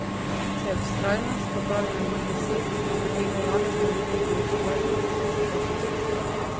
Če je vztrajnost, pa pravi nabor besed, jih utegne Janez na leto ustvariti tisoč, dva tisoč.